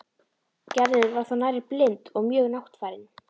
Gerður var þá nærri blind og mjög máttfarin.